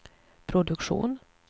produktion